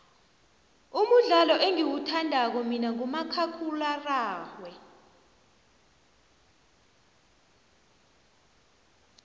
umudlalo engiwuthandako mina ngumakhakhulwararhwe